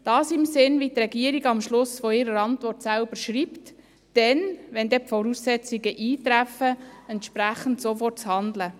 Dies im Sinn, wie die Regierung am Schluss ihrer Antwort selbst schreibt: Dann, wenn die Voraussetzungen eintreffen, entsprechend sofort zu handeln.